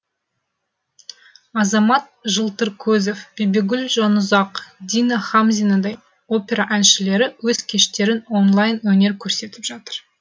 азамат жылтыркөзов бибігүл жанұзақ дина хамзинадай опера әншілері өз кештерін онлайн өнер көрсетіп жатыр